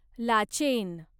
Lachen